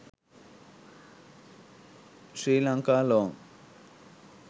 sri lanka long